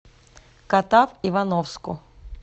катав ивановску